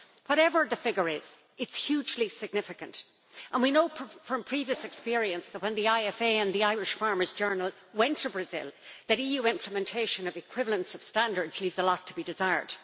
Whatever the figure is, it is hugely significant and we know from previous experience, when the IFA and the Irish Farmers' Journal went to Brazil, that EU implementation of equivalence of standards leaves a lot to be desired.